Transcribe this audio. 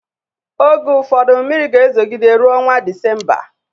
Oge ụfọdu mmiri ga-ezogide ruo ọnwa Disemba